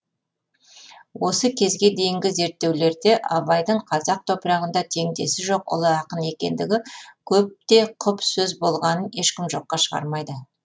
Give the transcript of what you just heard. осы кезге дейінгі зерттеулерде абайдың казақ топырағында тендесі жоқ ұлы ақын екендігі көп те құп сөз болғанын ешкім жоқка шығармайды